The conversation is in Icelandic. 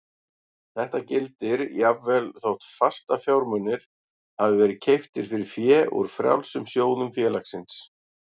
Þetta gildir jafnvel þótt fastafjármunir hafi verið keyptir fyrir fé úr frjálsum sjóðum félagsins.